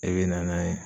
E bɛ na n'a ye